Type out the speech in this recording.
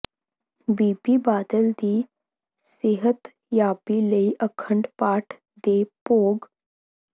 ਬੀਬੀ ਬਾਦਲ ਦੀ ਸਿਹਤਯਾਬੀ ਲਈ ਅਖੰਡ ਪਾਠ ਦੇ ਭੋਗ